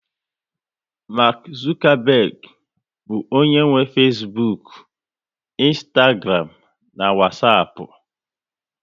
Mark Zuckerberg bụ onye nwe Fesbuk, ịnstagram na Wasapu